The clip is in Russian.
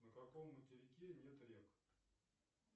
на каком материке нет рек